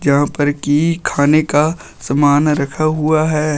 यहां पर की खाने का सामान रखा हुआ है।